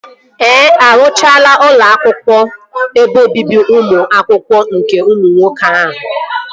Ee, arụchago ụlọ ebe obibi ụmụ akwụkwọ nke ụmụ nwoke ahụ